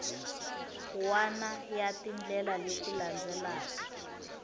wana ya tindlela leti landzelaka